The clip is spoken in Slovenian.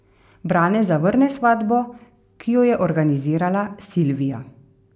Brane zavrne svatbo, ki jo je organizirala Silvija.